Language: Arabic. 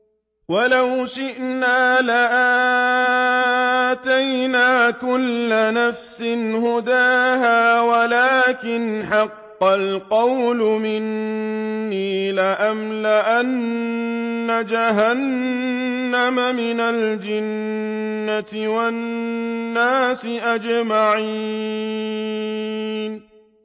وَلَوْ شِئْنَا لَآتَيْنَا كُلَّ نَفْسٍ هُدَاهَا وَلَٰكِنْ حَقَّ الْقَوْلُ مِنِّي لَأَمْلَأَنَّ جَهَنَّمَ مِنَ الْجِنَّةِ وَالنَّاسِ أَجْمَعِينَ